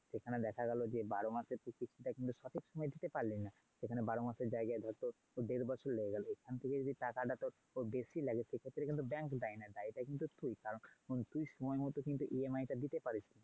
তো সেখানে দেখা গেলো যে বারো মাসের কিস্তিটা তুই সঠিক সময় দিতে পারলিনা। সেখানে বারো মাসের জায়গায় ধর তোর দেড় বছর লেগে গেলো সেখান থেকে যদি টাকাটা তোর বেশি লাগে সেক্ষেত্রে কিন্তু bank দায়ী নয় দায়ীটা কিন্তু তুই, কারণ তুই সময় মতো EMI টা দিতে পারিসনি।